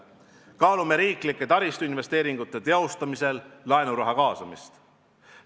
Kaalume riigi taristuinvesteeringute teostamisel laenuraha kaasamist.